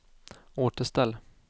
återställ